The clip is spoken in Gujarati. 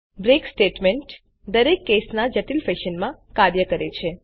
બ્રેક સ્ટેટમેન્ટ વિના સ્વીચ કેસ જટિલ ફેશન માં કાર્ય કરે છે